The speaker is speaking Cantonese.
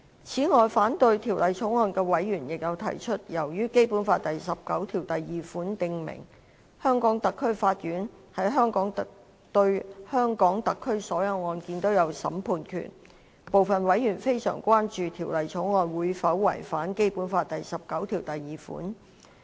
此外，反對《條例草案》的委員亦有提出，由於《基本法》第十九條第二款訂明，香港特區法院對香港特區所有案件均有審判權，部分委員非常關注《條例草案》是否會違反《基本法》第十九條第二款。